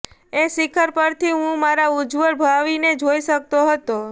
એ શિખર પરથી હું મારા ઉજ્જવળ ભાવિને જોઈ શકતો હતો